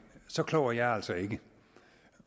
så klog er jeg altså ikke